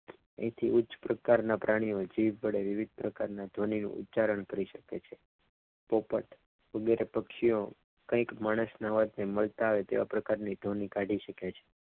એથી ઉચ્ચ પ્રકારના પ્રાણીઓ જીભ વડે વિવિધ પ્રકારના ઉચ્ચારણ કરી શકે છે તો પણ સુનેરા પક્ષીઓ કંઈક માણસના અવાજને મળતા આવે છે તેવા પ્રકારની ધ્વનિ કાઢી શકે છે.